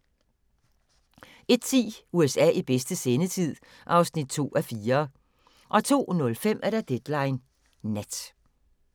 01:10: USA i bedste sendetid (2:4) 02:05: Deadline Nat